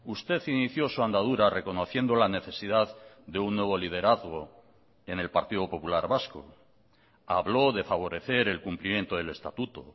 usted inició su andadura reconociendo la necesidad de un nuevo liderazgo en el partido popular vasco habló de favorecer el cumplimiento del estatuto